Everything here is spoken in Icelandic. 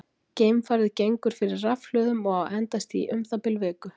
Geimfarið gengur fyrir rafhlöðum og á að endast í um það bil viku.